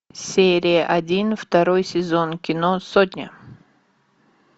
серия один второй сезон кино сотня